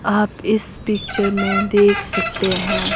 आप इस पिक्चर में देख सकते हैं।